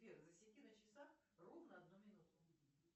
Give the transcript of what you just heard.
сбер засеки на часах ровно одну минуту